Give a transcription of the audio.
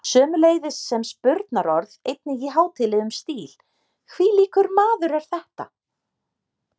Sömuleiðis sem spurnarorð einnig í hátíðlegum stíl: hvílíkur maður er þetta?